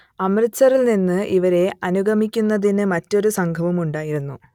അമൃത്സറിൽനിന്ന് ഇവരെ അനുഗമിക്കുന്നതിന് മറ്റൊരു സംഘവും ഉണ്ടായിരുന്നു